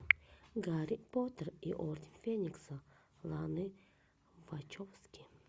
гарри поттер и орден феникса ланы вачовски